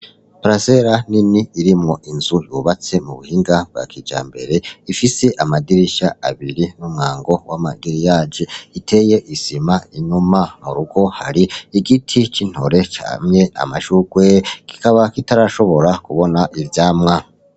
Parasela nini irimwo inzu yubatse mu buhinga bwa kijambere ifise amadirisha abiri n'umwango w'amagriyaje iteye isima inyuma mu rugo hari igiti k'intore camye amashugwe gikaba kitarashobora kubona ivyamwa.